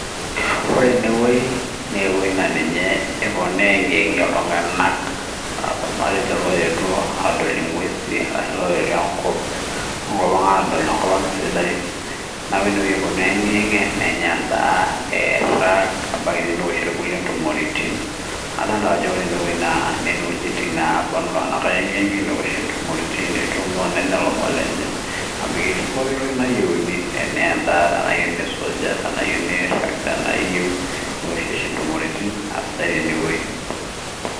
Ore ene wueii, naa ewuei naapuonu aegiyegie iltungana matejo loetuo adol inguezi ashu loetuo enkop ang adol enkop ang sidai, neeku ene wueii epuonu aegiyegie nenya enda, neirag ebaiki neishori kulie ntumoritin adolta ajo ore ene wueii neishie ntumoritin nenya ilomon lenye amu ketii pooki toki nayieuni, tena endaa tenaa enkosujata tenaa iyieu nirag tena iyieu neoshi intumoritin sidai ene wueii.